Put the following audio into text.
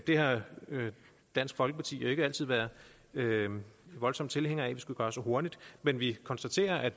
det har dansk folkeparti jo ikke altid været voldsomt tilhænger af at vi skulle gøre så hurtigt men vi konstaterer at